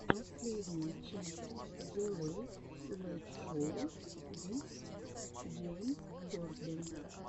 последняя часть зе лэйт лэйт шоу виз джеймс корден